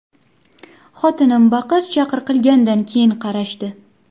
Xotinim baqir-chaqir qilgach keyin qarashdi.